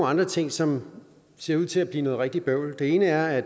andre ting som ser ud til at blive noget rigtig bøvl den ene er at